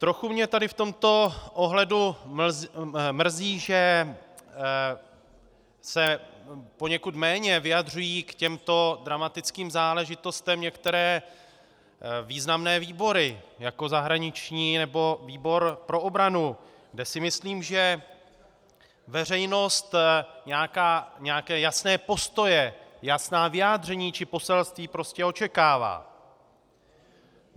Trochu mě tady v tomto ohledu mrzí, že se poněkud méně vyjadřují k těmto dramatickým záležitostem některé významné výbory, jako zahraniční nebo výbor pro obranu, kde si myslím, že veřejnost nějaké jasné postoje, jasná vyjádření či poselství prostě očekává.